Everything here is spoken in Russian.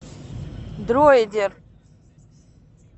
дроидер